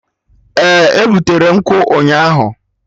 Eh, e butere nkwụ ụnyaahụ